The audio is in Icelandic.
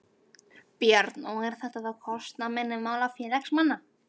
Björn: Og er þetta þá á kostnað minni mála félagsmanna?